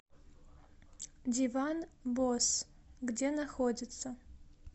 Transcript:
диван босс где находится